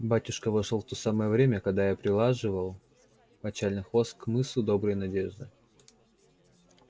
батюшка вошёл в то самое время как я прилаживал мочальный хвост к мысу доброй надежды